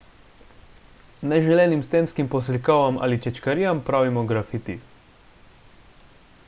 neželenim stenskim poslikavam ali čečkarijam pravimo grafiti